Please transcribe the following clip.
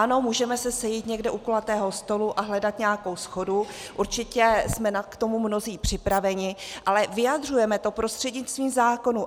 Ano, můžeme se sejít někde u kulatého stolu a hledat nějakou shodu, určitě jsme k tomu mnozí připraveni, ale vyjadřujeme to prostřednictvím zákonů.